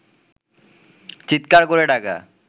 চিৎকার করে ডাকা